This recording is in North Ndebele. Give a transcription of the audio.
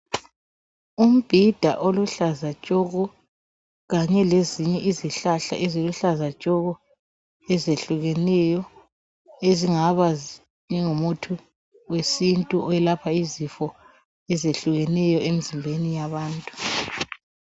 Umbhida oluhlaza tshoko, kanye lezinye izihlahla eziluhlaza tshoko ezehlukeneyo ezingaba zingumuthi wesintu oyelapha izifo ezehlukeneyo emzimbeni yabantu.